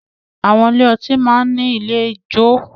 Àwọn ilé ọtí máa ń ní ilé ìjo